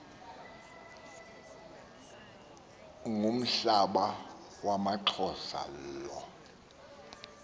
ngumhlaba wamaxhosa lowo